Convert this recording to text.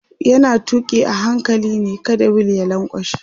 yana tuki a hankali ne kada wheel ya lankwashe